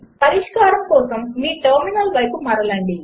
పరిష్కారం కోసం మీ టెర్మినల్ వైపు మరలండి